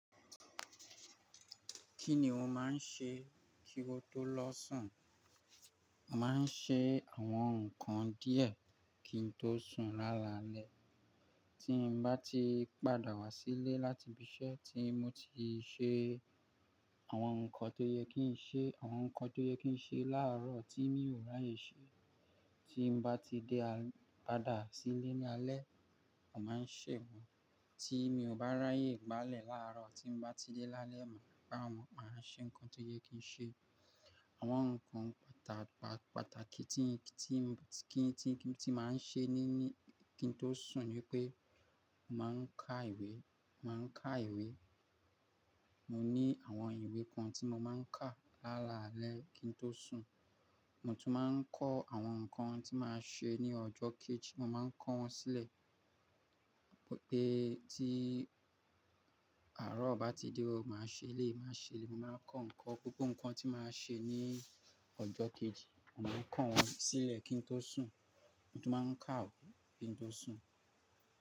Kí ni o máa ń ṣe kí o tó lọ sùn? Màá ń ṣe àwọn nǹkan díẹ̀ kí n tó sùn lálalẹ́. Tí mo bá ti padà wá sílé láti ibi iṣẹ́ tí mo ti ṣe àwọn nǹkan tó yẹ kí n ṣe, àwọn nǹkan tó yẹ kí n ṣe láàárọ̀ tí mi ò ráyè ṣe, tí mo bá ti dé padà sílé ní alẹ́, màá ṣẹ̀ wọ́n. Tí mi ò bá ráyè gbálẹ̀ láàárọ̀, tí mo bá ti dé lálẹ́, màá gbá wọn, màá ṣe nǹkan tó yẹ kí n ṣe. Àwọn nǹkan pàtàkì tí, tí, kí n, tí máa ń ṣe níní kí n tó sùn ni pé màá ń ka ìwé, màá ń ka ìwé. Mo ní àwọn ìwé kan tí mo máa ń ka lálalẹ́ kí n tó sùn. Mo tún máa ń kọ́ àwọn nǹkan tí màá ṣe ní ọjọ́ kejì, mo máa ń kọ́ wọn sílẹ̀. Pé tí àárọ̀ bá ti dé, màá ṣe eléyi, màá ṣe eléyi, mo màá kọ́ nǹkan, gbogbo nǹkan tí màá ṣe ní ọjọ́ kejì, màá kọ́ wọn sílẹ̀ kí n tó sùn. Mo tún máa ń ka ìwé kí n tó sùn.